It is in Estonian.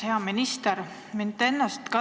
Hea minister!